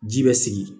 Ji bɛ sigi